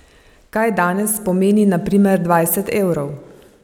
Kaj danes pomeni na primer dvajset evrov?